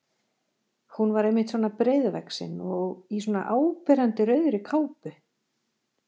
Hún var einmitt svona breiðvaxin og í svona áberandi rauðri kápu!